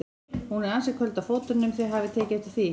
Hún er ansi köld á fótunum, þið hafið tekið eftir því?